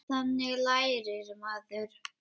Þannig lærir maður.